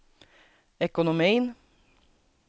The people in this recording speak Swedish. ekonomin